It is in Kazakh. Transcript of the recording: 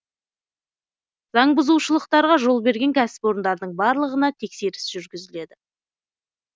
заңбұзушылықтарға жол берген кәсіпорындардың барлығына тексеріс жүргізіледі